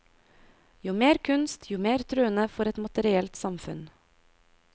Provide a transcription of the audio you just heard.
Jo mer kunst, jo mer truende for et materielt samfunn.